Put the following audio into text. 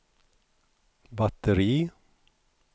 batteri